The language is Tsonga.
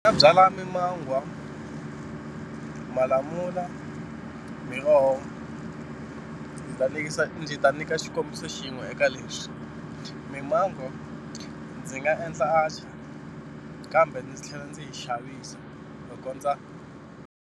Ni nga byala mimangwa, malamula, miroho ndzi ta ndzi ta nyika xikombiso xin'we eka leswi mimango ndzi nga endla atchaar kambe ndzi tlhela ndzi yi xavisa ku kondza.